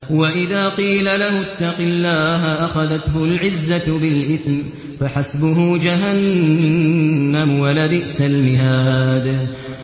وَإِذَا قِيلَ لَهُ اتَّقِ اللَّهَ أَخَذَتْهُ الْعِزَّةُ بِالْإِثْمِ ۚ فَحَسْبُهُ جَهَنَّمُ ۚ وَلَبِئْسَ الْمِهَادُ